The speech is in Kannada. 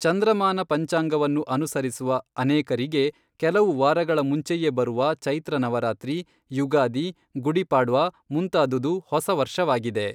ಚಂದ್ರಮಾನ ಪಂಚಾಂಗವನ್ನು ಅನುಸರಿಸುವ ಅನೇಕರಿಗೆ, ಕೆಲವು ವಾರಗಳ ಮುಂಚೆಯೇ ಬರುವ ಚೈತ್ರ ನವರಾತ್ರಿ, ಯುಗಾದಿ, ಗುಡಿ ಪಾಡ್ವಾ ಮುಂತಾದುದು ಹೊಸ ವರ್ಷವಾಗಿದೆ.